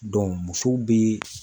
musow bɛ